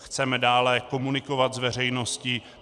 Chceme dále komunikovat s veřejností.